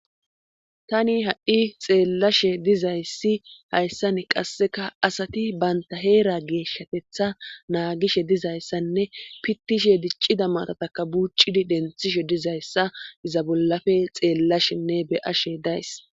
tani ha7i xeellashe dizayssi hayssan qasseka asati banta heera geeshshatetha naagishe dizayssanne pittishe diccida matataka buucidi denthishe dizayssa iza bollafe xeellashenne beyashe days